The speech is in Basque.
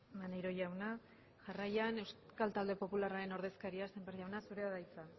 maneiro jauna jarraian euskal talde popularraren ordezkaria sémper jauna zurea da hitza